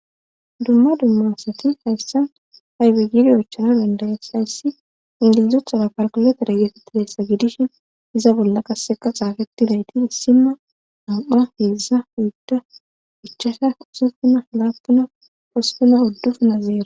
dumma dumma asati hayssa aybe giidi oychchanna dandda7es; hayssi mali cachera kalkuletere geetetizayssa gidishin iza bolla qassika xaafethidayti issinno nam7a heedzdza oydda ichchasha usuppuna laappuna hosppuna uddufuna zero.